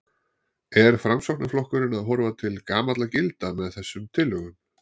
Er Framsóknarflokkurinn að horfa til gamalla gilda með þessum tillögum?